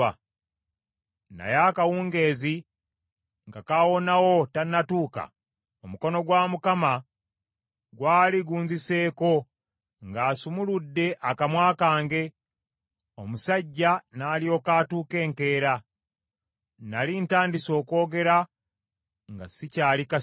Naye akawungeezi nga kaawonawo tannatuuka, omukono gwa Mukama gwali gunziseeko, ng’asumuludde akamwa kange, omusajja n’alyoka atuuka enkeera. Nnali ntandise okwogera nga sikyali kasiru.